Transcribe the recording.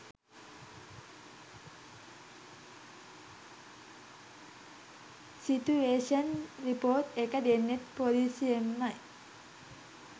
Situation report එක දෙන්නෙත් පොලිසියෙන්මයි.